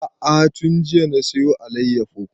A'a tun jiya na saya alayyafo